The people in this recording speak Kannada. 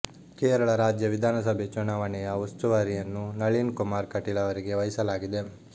ಕೇರಳ ರಾಜ್ಯ ವಿಧಾನಸಭೆ ಚುನಾವಣೆಯ ಉಸ್ತುವಾರಿಯನ್ನು ನಳೀನ್ ಕುಮಾರ್ ಕಟೀಲ್ ಅವರಿಗೆ ವಹಿಸಲಾಗಿದೆ